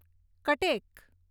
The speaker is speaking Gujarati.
કટેક